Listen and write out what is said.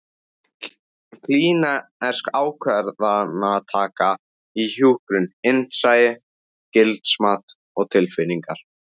Klínísk ákvarðanataka í hjúkrun: Innsæi, gildismat og tilfinningar.